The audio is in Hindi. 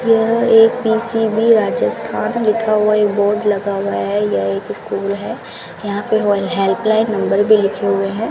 यह एक पी_सी_बी राजस्थान लिखा हुआ एक बोर्ड लगा हुआ है यह एक स्कूल है यहां पे ऑल हेल्पलाइन नंबर भी लिखे हुए हैं।